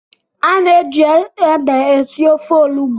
a na-eji ede esi ofe olugbo.